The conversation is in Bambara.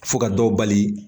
Fo ka dɔw bali